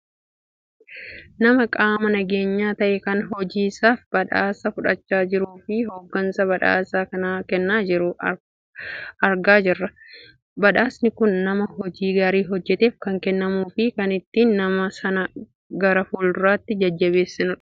nama qaama nageenyaa ta'e kan hojii isaaf badhaasa fudhachaa jiruufi hooggansa badhaasa kana kennaa jiru argaakan jirrudha. badhaasni kun nama hojii gaarii hojjateef kan kennamuufi kan ittiin nama sana gara fuulduraatti jajjabeessanidha.